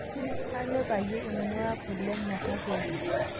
Aanyo payie ingua kule metaroi